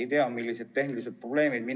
Ei tea, millised tehnilised probleemid need olid.